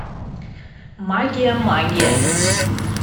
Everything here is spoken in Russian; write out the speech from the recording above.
магия магия